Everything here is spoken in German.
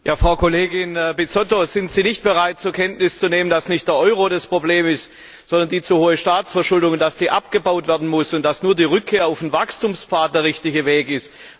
Frau Kollegin Bizzotto, sind Sie nicht bereit, zur Kenntnis zu nehmen, dass nicht der Euro das Problem ist, sondern die zu hohe Staatsverschuldung, und dass die abgebaut werden muss und dass nur die Rückkehr auf den Wachstumspfad der richtige Weg ist?